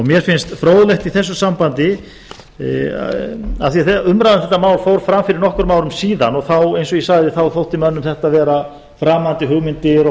mér finnst fróðlegt í þessu sambandi af því að umræða um þetta mál fór fram fyrir nokkrum árum síðan og þá eins og ég sagði þá þótti mönnum þetta vera framandi hugmyndir og